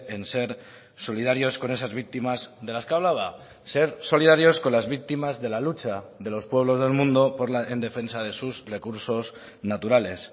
en ser solidarios con esas víctimas de las que hablaba ser solidarios con las víctimas de la lucha de los pueblos del mundo en defensa de sus recursos naturales